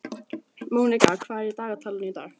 Mónika, hvað er í dagatalinu í dag?